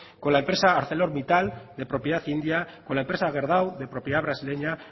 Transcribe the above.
con la empresa arcelormittal de propiedad india con la empresa gerdau de propiedad brasileña